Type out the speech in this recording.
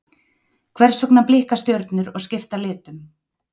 hvers vegna blikka stjörnur og skipta litum